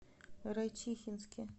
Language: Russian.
райчихинске